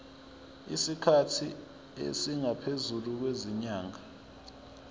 isikhathi esingaphezulu kwezinyanga